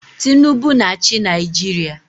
Tinubu na-achị Naijiria.